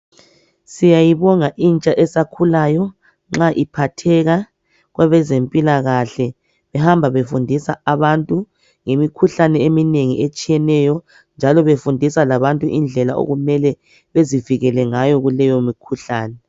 Siyayibonga intsha esakhulayo nxa iphatheka kwabe zempilakahle behamba befundisa abantu ngemikhuhlane eminengi etshiyeneyo njalo befundisa labantu indlela okumele bezivikele ngayo kuleyo mikhuhlane.